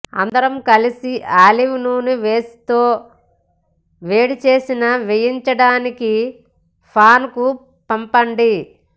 అందరం కలసి ఆలివ్ నూనె వేసి తో వేడిచేసిన వేయించడానికి పాన్ కు పంపండి